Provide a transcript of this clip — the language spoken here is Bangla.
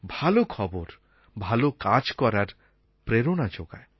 ভালো খবর ভালো কাজ করার প্রেরণা যোগায়